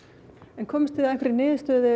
en komust þið að einhverri niðurstöðu